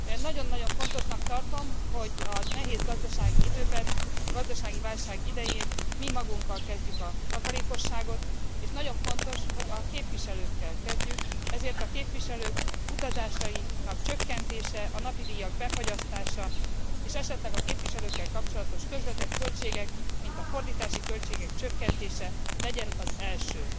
Nagyon nagyon fontosnak tartom, hogy a nehéz gazdasági időben, a gazdasági válság idején mi magunkkal kezdjük a takarékosságot, és nagyon fontos, hogy a képviselőkkel kezdjük, ezért a képviselők utazásainak csökkentése, a napidíjak befagyasztása és esetleg a képviselőkkel kapcsolatos közvetett költségek, mint a fordítási költségek csökkentése legyen az első.